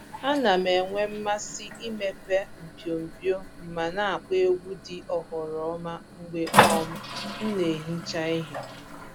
A na m-enwe mmasị imepe mpio mpio ma na-akpọ egwu dị oghoroma mgbe um m na-ehicha ihe